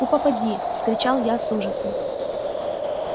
у попадьи вскричал я с ужасом